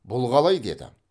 бұл қалай деді